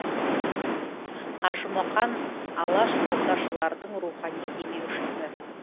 қажымұқан алашордашылардың рухани демеушісі